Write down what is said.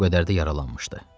Bir o qədər də yaralanmışdı.